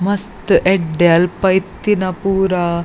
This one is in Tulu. ಮಸ್ತ್ ಎಡ್ದೆ ಅಲ್ಪ ಇತ್ತಿನ ಪೂರ.